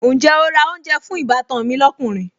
Ǹjẹ́ o ra oúnjẹ fún ìbátan mi lọ́kùnrin?